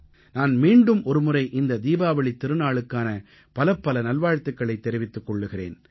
நான் மீண்டும் ஒருமுறை இந்த தீபாவளித் திருநாளுக்கான பலப்பல நல்வாழ்த்துக்களைத் தெரிவித்துக் கொள்கிறேன்